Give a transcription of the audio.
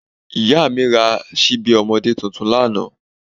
Ìyá mi ra ṣíbí ọmọdé tuntun lánàá